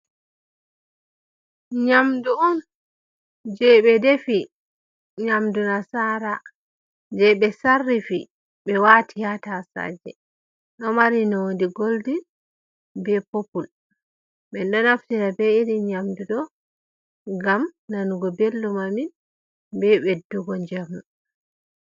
Nyamdu on je ɓe defi, nyamdu nasara je ɓe sarrifi, ɓe wati ha tasaje, ɗo mari nonde goldin be popul, min ɗo naftira be iri nyamdu ɗo ngam nanugo ɓeldum amin, be ɓeddugo njamu.